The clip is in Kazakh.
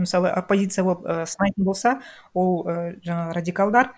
мысалы оппозиция болып і сынайтын болса ол і жаңағы радикалдар